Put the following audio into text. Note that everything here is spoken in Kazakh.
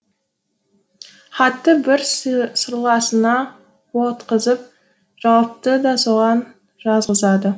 хатты бір сырласына жауапты да соған жазғызады